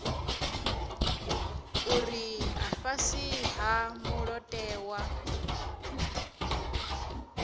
uri a fhasi ha mulayotewa